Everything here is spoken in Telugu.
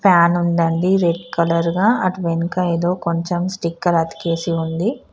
ఫ్యాన్ ఉందండి రెడ్ కలర్ గ అది వెనక ఏదో కొంచం స్టికర్ అతికేసి ఉంది.